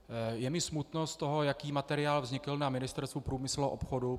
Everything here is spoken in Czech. Je mi smutno z toho, jaký materiál vznikl na Ministerstvu průmyslu a obchodu.